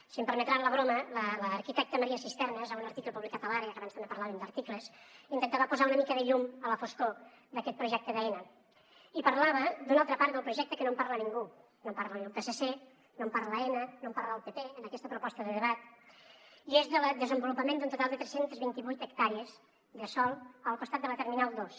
si em permeten la broma l’arquitecta maria sisternas en un article publicat a l’parlàvem d’articles intentava posar una mica de llum a la foscor d’aquest projecte d’aena i parlava d’una altra part del projecte que no en parla ningú no en parla el psc no en parla aena no en parla el pp en aquesta proposta de debat i és del desenvolupament d’un total de tres cents i vint vuit hectàrees de sòl al costat de la terminal dos